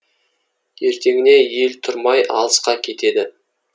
ертеңіне ел тұрмай жатып алысқа кетеді